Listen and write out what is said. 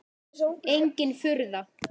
Engin furða.